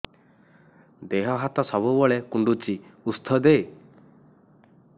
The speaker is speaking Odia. ଦିହ ହାତ ସବୁବେଳେ କୁଣ୍ଡୁଚି ଉଷ୍ଧ ଦେ